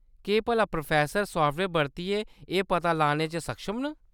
केह्‌‌ भला professor software बरतियै एह्‌‌ पता लाने च सक्षम न ?